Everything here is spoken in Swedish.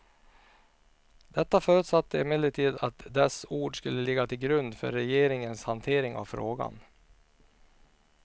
Detta förutsatte emellertid att dess ord skulle ligga till grund för regeringens hantering av frågan.